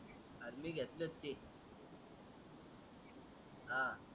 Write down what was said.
अरे मी घेतलच ते हा